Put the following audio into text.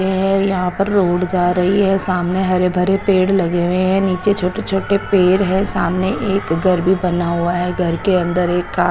ये यहां पर रोड जा रही है सामने हरे भरे पेड़ लगे हुए हैं नीचे छोटे छोटे पेड़ है सामने एक घर भी बना हुआ है घर के अंदर एक आ--